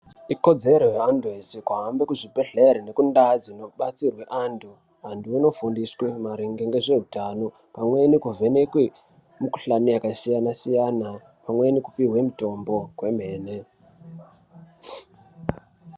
Ikodzero ye antu ese juhambe kuzvibhedhlere nekundawu dzinobatsirwa antu. Antu vanofundiswe maringe nezvehutano. Pamweni kuvhenekwe mikhuhlani yakasiyana siyana, pamweni kupiwe mutombo kwemene.